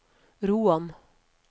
Roan